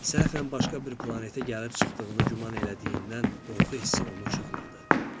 Səhfən başqa bir planetə gəlib çıxdığını güman elədiyindən qorxu hissi onu cuğladı.